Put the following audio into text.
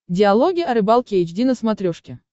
диалоги о рыбалке эйч ди на смотрешке